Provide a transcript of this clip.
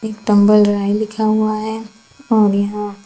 tumble dry लिखा हुआ है और यहां--